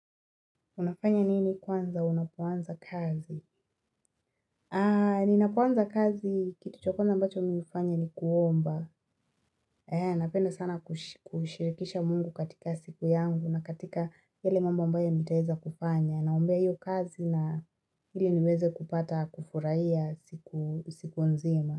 Unafanya nini kwanza, unapoanza kazi? Aa, ninapoanza kazi, kitu cha kwanza ambacho mimi hufanya ni kuomba. Ea, napenda sana kushirikisha mungu katika siku yangu na katika yale mambo ambayo nitaeza kufanya. Naombea hiyo kazi na ili niweze kupata kufurahia siku nzima.